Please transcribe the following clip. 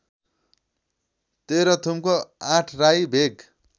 तेह्रथुमको Athrai भेग